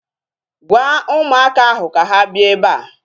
Gwaa ụmụaka ahu ka ha bịa ebea